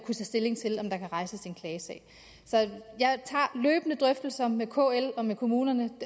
stilling til om der kan rejses en klagesag så jeg tager løbende drøftelser med kl og med kommunerne